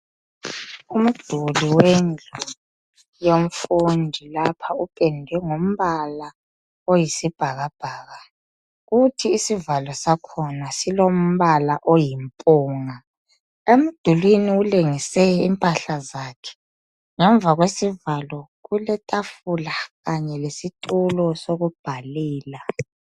Umduli wendlu yomfundi ,lapha upende ngombala oyisibhakabhaka ,kuthi isivalo sakhona silombala oyimpunga .Emdulwini ulengise impahla zakhe. Ngemva kwesivalo kuletafula kanye lesitulo sokubhalela.